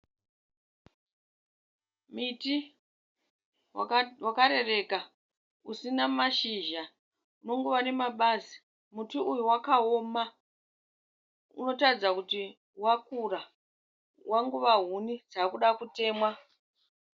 Muti wakarereka kusina mashizha unongova nemabazi muti uyu wakaoma unotaridza kuti wakura wangova huni dzakuda kutemwa.